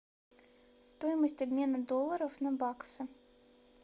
стоимость обмена долларов на баксы